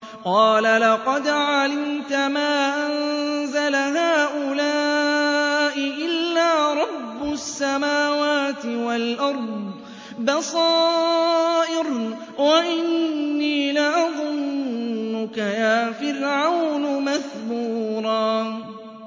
قَالَ لَقَدْ عَلِمْتَ مَا أَنزَلَ هَٰؤُلَاءِ إِلَّا رَبُّ السَّمَاوَاتِ وَالْأَرْضِ بَصَائِرَ وَإِنِّي لَأَظُنُّكَ يَا فِرْعَوْنُ مَثْبُورًا